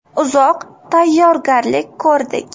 Uzoq tayyorgarlik ko‘rdik.